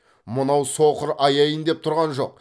мынау соқыр аяйын деп тұрған жоқ